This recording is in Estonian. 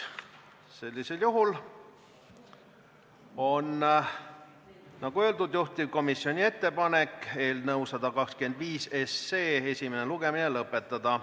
Sellisel juhul on, nagu öeldud, juhtivkomisjoni ettepanek eelnõu 125 esimene lugemine lõpetada.